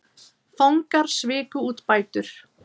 Fangar sviku út bætur